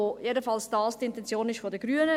Jedenfalls ist das die Intention der Grünen.